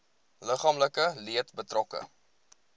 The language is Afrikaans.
liggaamlike leed betrokke